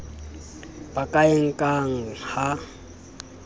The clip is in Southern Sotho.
ba ka e nkang ha